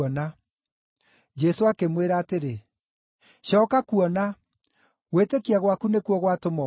Jesũ akĩmwĩra atĩrĩ, “Cooka kuona, gwĩtĩkia gwaku nĩkuo gwatũma ũhone.”